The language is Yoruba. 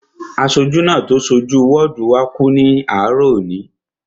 Aṣojú náà tó so jú wọ́ọ̀dù wá kú ní àárọ̀ òní